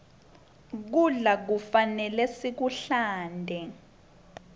kudla kufanele sikuhlante